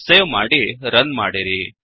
save ಮಾಡಿ run ಮಾಡಿರಿ